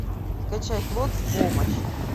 скачай клод в помощь